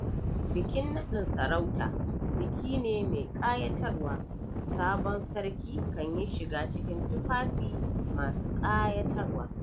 Bikin naɗin sarauta biki ne mai ƙayatarwa, sabon Sarki kan yi shiga cikin tufafi masu ƙayatarwa.